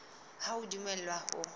ha o a dumellwa ho